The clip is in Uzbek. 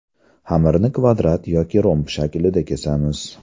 Xamirni kvadrat yoki romb shaklida kesamiz.